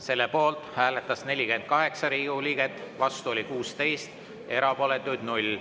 Selle poolt hääletas 48 Riigikogu liiget, vastu oli 16, erapooletuid 0.